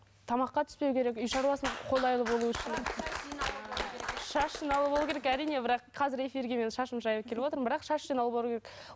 тамаққа түспеуі керек үй шаруасына қолайлы болу үшін шаш жинаулы болу керек әрине бірақ қазір эфирге мен шашымды жайып келіп отырмын бірақ шаш жинаулы керек